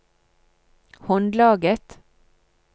håndlaget